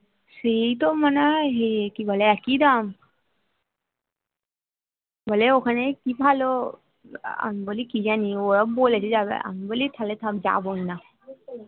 সেই তো মনে হয় কি বলে একই দাম বলে ওখানে কি ভালো আমি বলি কি জানি ওরা বলেছে যাবে আমি বলি তাহলে থাক যাবো না